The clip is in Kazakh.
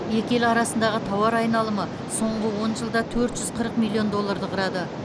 екі ел арасындағы тауар айналымы соңғы он жылда төрт жүз қырық миллион долларды құрады